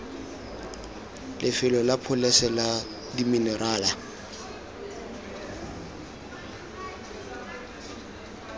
lefelo la pholese la diminerala